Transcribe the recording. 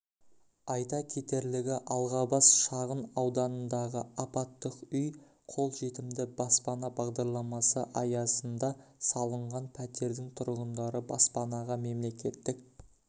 айта кетерлігі алғабас шағын ауданындағы апаттық үй жолжетімді баспана бағдарламасы аясында салынған пәтердің тұрғындары баспанаға мемлекеттік